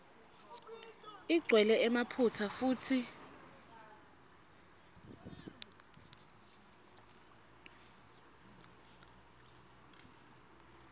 igcwele emaphutsa futsi